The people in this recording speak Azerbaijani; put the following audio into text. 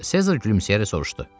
Sezar gülümsəyərək soruşdu.